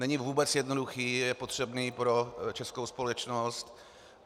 Není vůbec jednoduchý, je potřebný pro českou společnost.